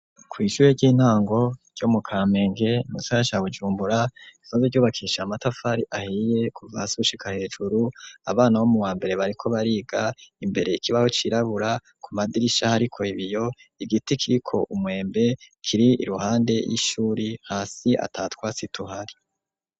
Kw'ishure ry'intango ryo mu kamenge nunsana sabujumbura soze ryubakisha matafari ahiye kuvasushika hejuru abana bo mu wambere bariko bariga imbere ikibaho cirabura ku madirishaho, ariko ibiyo igiti kiko umwembe kiri iruhande y'ishuri hasi atatwa situhari.